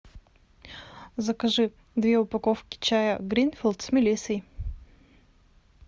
закажи две упаковки чая гринфилд с мелиссой